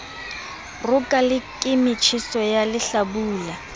roka le ke motjheso walehlabula